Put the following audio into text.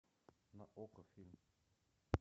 на окко фильм